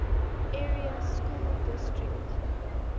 area school district